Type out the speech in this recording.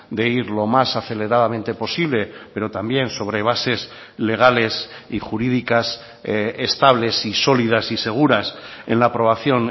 de ir lo más aceleradamente posible pero también sobre bases legales y jurídicas estables y sólidas y seguras en la aprobación